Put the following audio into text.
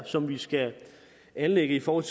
som vi skal anlægge i forhold